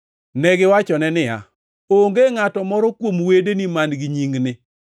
Negiwachone niya, “Onge ngʼato moro kuom wedeni man-gi nyingni.”